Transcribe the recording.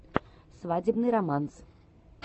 свадебный романс